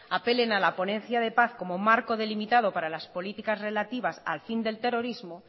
apelen a la ponencia de paz como marco delimitado para las políticas relativas al fin del terrorismo